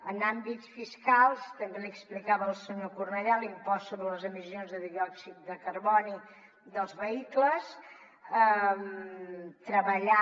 en àmbits fiscals també li ho explicava al senyor cornellà l’impost sobre les emissions de diòxid de carboni dels vehicles treballant